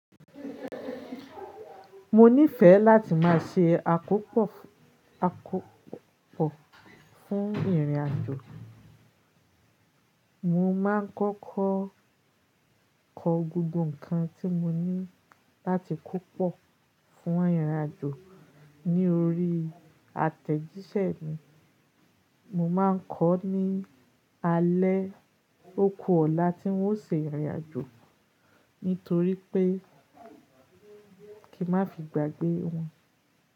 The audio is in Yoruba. Mo nífẹ̀ẹ́ láti má ṣe àkópò fún ìrìnàjò. Mo ma ń kọ́kọ́ kọ gbogbo ǹkan tí mo ní láti kó pọ̀ fún irìnàjò ní orí àtẹ̀jíṣẹ́ mi. Mo ma ń kọ́ ní alẹ́ oku ọ̀la tí n ó ṣe ìrìnàjò, nítorí pé kí n má fi gbàgbé wọn.